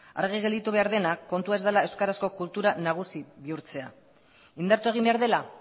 argi gelditu behar dena kontua ez dela euskarazko kultura nagusi bihurtzea indartu egin behar dela